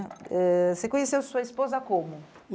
Eh Você conheceu sua esposa como?